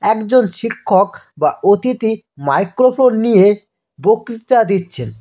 একজন শিক্ষক বা অতিথি মাইক্রোফোন নিয়ে বক্তৃতা দিচ্ছেন।